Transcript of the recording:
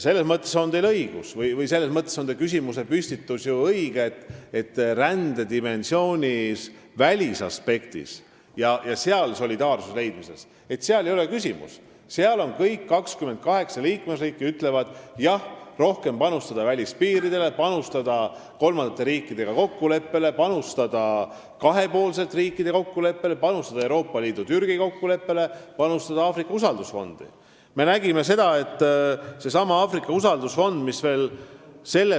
Selles mõttes on teie küsimuse püstitus ju õige, et rändedimensiooni välisaspektis ja seal solidaarsuse leidmises ei ole küsimust, kõik 28 liikmesriiki ütlevad, et jah, rohkem on vaja panustada välispiiridele, kolmandate riikidega kokkuleppe saavutamisele, riikide kahepoolsetele kokkulepetele, Euroopa Liidu ja Türgi kokkuleppele ning Aafrika usaldusfondi.